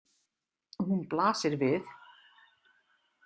Hún blasir við.